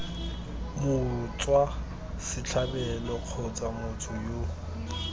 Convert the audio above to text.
motswa setlhabelo kgotsa motho yo